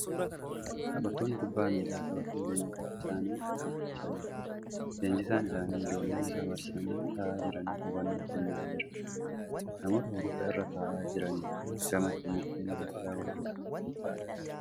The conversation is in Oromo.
Taphattoonni kubbaa miilaa taphatan leenjisaa isaa nii dhaggeeffachaa jiru. Leensjisaan isaanii ijoollee isa marsanii taa'aa jiraniif hubannoo kennaa jira. Namoota hurufa irra taa'aa jiraniin gamatti mukkeen gaattiraa gurguddoon tuuta'anii jiru.